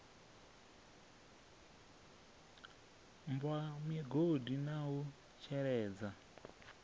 bwa migodi na u sheledza